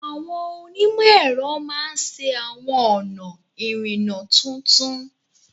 Àwọn onímọ̀ ẹ̀rọ máa ṣe àwọn ọ̀nà ìrìnnà tuntun